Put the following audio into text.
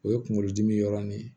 O ye kunkolodimi yɔrɔ ni ye